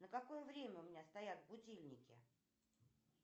на какое время у меня стоят будильники